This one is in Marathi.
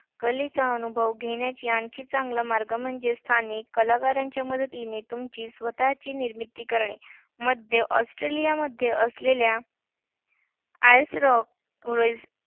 कलेचा अनुभव घेण्याचा आणखी चांगला मार्ग म्हणजे स्थानिक कलाकारांच्या मदतीने तुमची स्वतःची निर्मिती करणे. मध्य ऑस्ट्रेलियामध्ये असलेल्या आयर्स रॉक